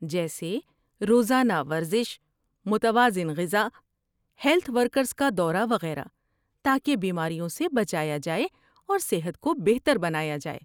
جیسے روزانہ ورزش، متوازن غذا، ہیلت ورکرز کا دورہ وغیرہ تاکہ بیماریوں سے بچایا جائے اور صحت کو بہتر بنایا جائے۔